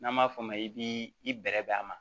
N'an b'a f'o ma i b'i i bɛrɛb' a ma